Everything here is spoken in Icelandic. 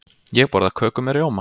Ég borða köku með rjóma.